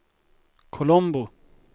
Colombo